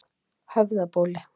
Höfðabóli